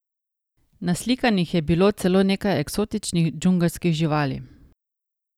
Naslikanih je bilo celo nekaj eksotičnih džungelskih živali.